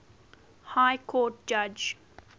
high court judge